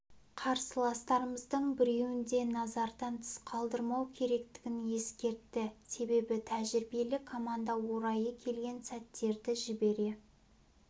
қарсыластарымыздың біреуін де назардан тыс қалдырмау керектігін ескертті себебі тәжірибелі команда орайы келген сәттерді жібере